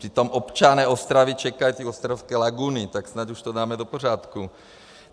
Přitom občané Ostravy čekají na ostravské laguny, tak snad už to dáme do pořádku.